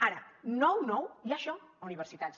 ara nou nou hi ha això a universitats